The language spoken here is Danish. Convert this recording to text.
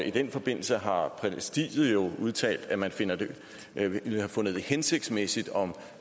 i den forbindelse har præsidiet jo udtalt at man ville have fundet det hensigtsmæssigt om